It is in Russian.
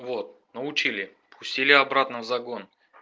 вот научили пустили обратно в загон